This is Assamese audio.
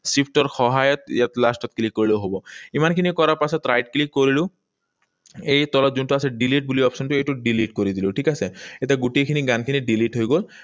Shift ৰ সহায়ত ইয়াত last ত click কৰিলেও হব। ইমানখিনি কৰা পাছত right click কৰিলো। এই তলত যোনটো আছে delete বুলি option টো, এইটোত delete কৰি দিলো ঠিক আছে? এতিয়া গোটেইখিনি গানখিনি delete হৈ গল।